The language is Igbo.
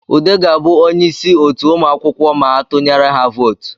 Ude ga-abụ onye isi otu ụmụakwụkwọ ma a tunyere ha votu